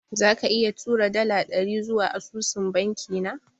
Zaka iya tura dala dari zuwa asusun banki na?